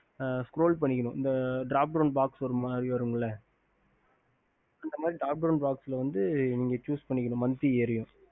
Scroll பண்ணிக்கணும் Stopperam Box வரும் இல்ல Sush பண்ணிக்கணும்